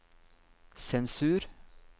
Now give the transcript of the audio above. sensur